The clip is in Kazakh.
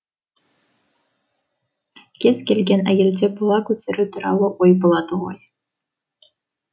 кез келген әйелде бала көтеру туралы ой болады ғой